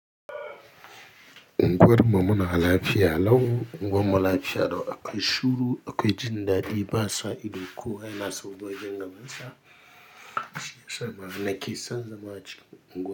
Unguwar muna lafiya lau unguwar lafiya lau akwai shuru, akwai jin dadi ba sai ido ko, yana sabgogin gabansa shiyasa ma nake san zama cikin unguwa.